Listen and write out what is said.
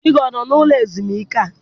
Di gị ọ nọ n'ụlọ ezumike a?